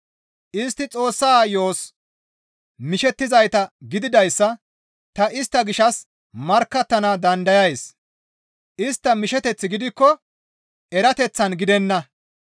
Istti Xoossa yo7os mishettizayta gididayssa ta istta gishshas markkattana dandayays; istta misheteththi gidikko erateththan gidenna.